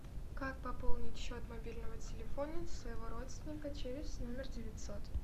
как пополнить счет мобильного телефона своего родственника через номер девятьсот